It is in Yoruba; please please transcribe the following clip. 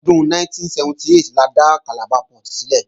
Ọdún 1978 la dá Calabar Port sílẹ̀